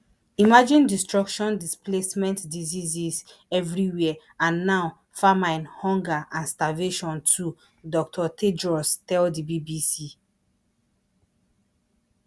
imagine destruction displacement diseases evriwia and now famine hunger and starvation too dr tedros tell di bbc